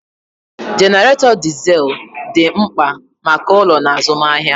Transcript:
Jenaretó dizel dị mkpa maka ụlọ na azụmahịa.